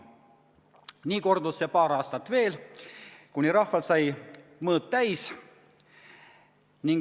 Nii kordus see paar aastat veel, kuni rahval sai mõõt täis.